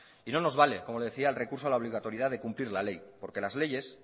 y no nos vale como le decía el recurso a la obligatoriedad de cumplir la ley porque las leyes